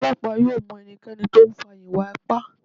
Ọlọpa yóò m ẹnikẹni ti o nfa iwa-ipa